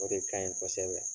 O de kaɲi kɔsɛbɛ.